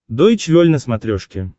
дойч вель на смотрешке